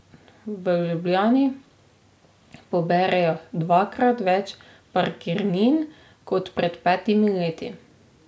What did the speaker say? V Ljubljani poberejo dvakrat več parkirnin kot pred petimi leti.